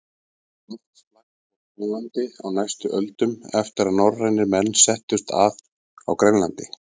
Loftslag fór kólnandi á næstu öldum eftir að norrænir menn settust að á Grænlandi.